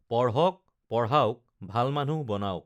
পঢ়ক পঢ়াওক ভাল মানুহ বনাওক